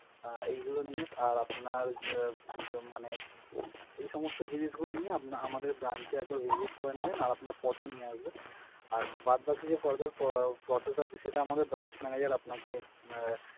আহ এইগুলো নিয়ে আর আপনার যে যে মানে এই সমস্ত জিনিসগুলো নিয়ে আপনা আমাদের branch এ একবার visit করে নেবেন, আর আপনার photo নিয়ে আসবেন। আর বাদ বাকি যা further pro~ process আছে সেটা আমাদের branch manager আপনাকে আহ,